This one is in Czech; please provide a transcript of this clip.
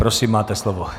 Prosím, máte slovo.